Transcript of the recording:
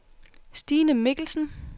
Stine Mikkelsen